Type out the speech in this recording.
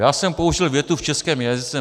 Já jsem použil větu v českém jazyce.